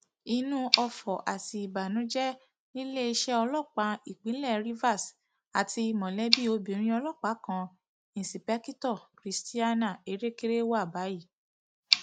inú ọfọ àti ìbànújẹ níléeṣẹ ọlọpàá ìpínlẹ rivers àti mọlẹbí obìnrin ọlọpàá kan ìǹṣìpẹkìtọ christiana erékéré wà báyìí